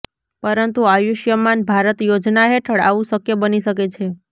પરંતુ આયુષ્યમાન ભારત યોજના હેઠળ આવું શક્ય બની શકે છે